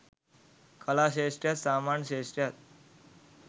කලා ක්‍ෂේත්‍රයත් සාමාන්‍ය ක්‍ෂේත්‍රයක්.